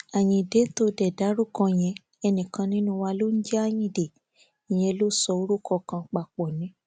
ayíǹde tó dé dárúkọ yẹn ẹnìkan nínú wa ló ń jẹ ayíǹde ìyẹn ló ń sọ orúkọ kan papọ ni